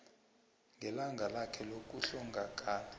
ngelanga lakhe lokuhlongakala